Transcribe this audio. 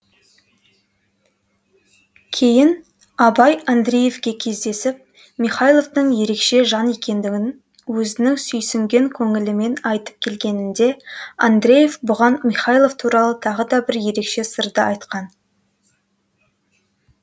кейін абай андреевке кездесіп михайловтың ерекше жан екендігін өзінің сүйсінген көңілімен айтып келгенінде андреев бұған михайлов туралы тағы да бір ерекше сырды айтқан